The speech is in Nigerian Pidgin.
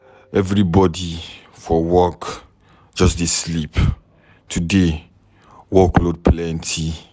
Everybody for office just dey sleep today. Work load plenty